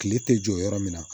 Tile tɛ jɔ yɔrɔ min na